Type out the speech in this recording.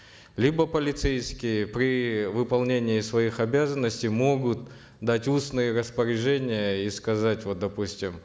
либо полицейские при выполнении своих обязанностей могут дать устные распоряжения и сказать вот допустим